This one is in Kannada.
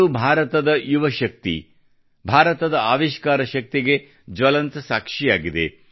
ಇದು ಭಾರತದ ಯುವ ಶಕ್ತಿ ಭಾರತದ ಆವಿಷ್ಕಾರ ಶಕ್ತಿಗೆ ಜ್ವಲಂತ ಸಾಕ್ಷಿಯಾಗಿದೆ